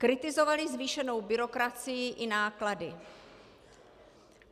Kritizovali zvýšenou byrokracii i náklady.